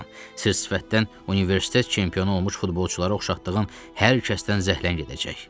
Sırf sifətdən universitet çempionu olmuş futbolçulara oxşatdığın hər kəsdən zəhlən gedəcək.